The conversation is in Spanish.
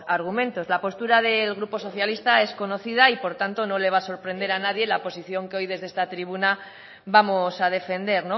argumentos la postura del grupo socialista es conocida y por tanto no le va a sorprender a nadie la posición que hoy desde este tribuna vamos a defender